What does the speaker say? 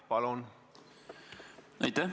Palun!